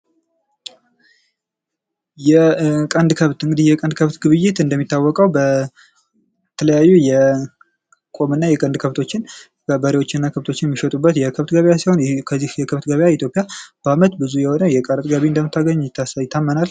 የቀንድ ከብት፦ እንግድህ የቀንድ ከብት ግብይት እንደሚታወቀው በተለያዩ የቁምና የቀንድ ከንቶችን በሬወችና ከብቶች የሚሸጡበት የከብት ገበያ ሲሆን ከዚህም ኢትዮጵያ ብዙ የቀረጥ ገቢ እንደምታገኝ ይታመናል።